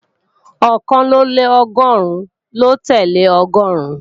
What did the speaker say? Ọ̀kànlélọ́gọ́rùn ló tẹ́lẹ̀ Ọgọ́ọ̀rún